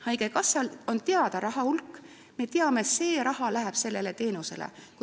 Haigekassal on teada raha hulk ja me teame, et see raha läheb sellele teenusele.